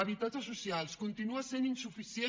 habitatges socials continua sent insuficient